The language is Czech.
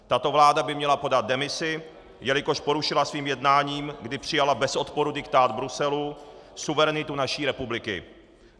Tato vláda by měla podat demisi, jelikož porušila svým jednáním, kdy přijala bez odporu diktát Bruselu, suverenitu naší republiky.